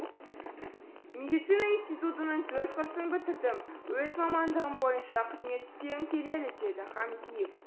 медицина институтының төрт құрсын бітірдім өз мамандығым бойынша қызмет істегім келеді деді хамзиев